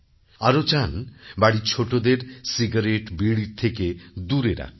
আরও চানবাড়ির ছোটোদেরcigarette বিড়ির থেকে দূরে রাখতে